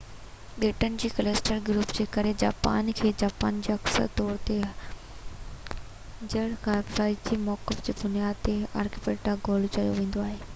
ٻيٽن جي ڪلسٽر/گروپ جي ڪري جاپان کي، جپان کي اڪثر طور تي، جغرافيائي موقف جي بنياد تي، آرڪيپيلاگو چيو ويندو آهي